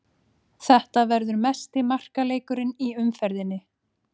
Þetta verður mesti markaleikurinn í umferðinni.